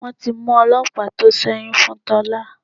Wọ́n ti mú ọlọ́pàá tó sẹ́yún fún Tọ́lá.